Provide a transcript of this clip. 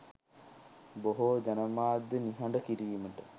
බොහෝ ජනමාධ්‍ය නිහඬ කිරීමට